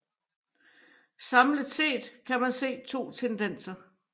Samlet set kan man se to tendenser